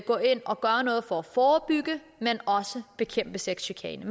gå ind og gøre noget for at forebygge men også bekæmpe sexchikane